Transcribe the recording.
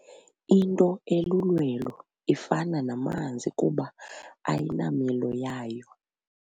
Into elulwelo ifana namanzi kuba ayinamilo yayo.